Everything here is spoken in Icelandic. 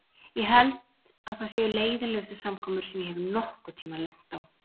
Ég held að það séu leiðinlegustu samkomur sem ég hef nokkurn tíma lent á.